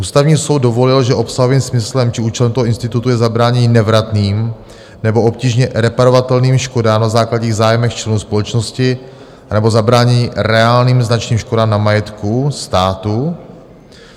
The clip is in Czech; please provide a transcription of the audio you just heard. Ústavní soud dovolil, že obsahovým smyslem či účelem toho institutu je zabránění nevratným nebo obtížně reparovatelným škodám na základních zájmech členů společnosti anebo zabránění reálným značným škodám na majetku státu.